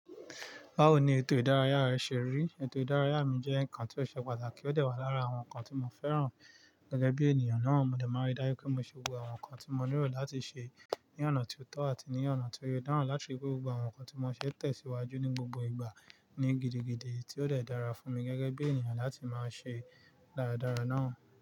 Báwo ni ètò ìdárayá rẹ ṣe rí? Ètò ìdárayá mi jẹ́ ǹkan tí ó ṣe pàtàkì ó dẹ̀ wà lára àwọn ǹkan tí mo fẹ́ràn gẹ́gẹ́ bí ènìyàn náà. Mo dẹ̀ máa ń dá yé pé mo ṣe gbogbo àwọn ǹkan tí mo nílò láti ṣe ní ọ̀nà tí ó tọ́ àti ní ọ̀nà tí ó yọ dáhùn láti rí pé gbogbo àwọn ǹkan tí mo ṣe ń tẹ̀síwájú ní gbogbo ìgbà ní gidigidi tí ó dẹ̀ dára fún mi gẹ́gẹ́ bí ènìyàn láti máa ṣe dáradára náà.